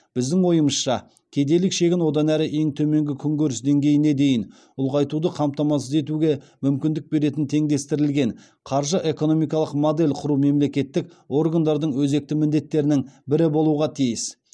біздің ойымызша кедейлік шегін одан әрі ең төменгі күнкөріс деңгейіне дейін ұлғайтуды қамтамасыз етуге мүмкіндік беретін теңдестірілген қаржы экономикалық модель құру мемлекеттік органдардың өзекті міндеттерінің бірі болуға тиіс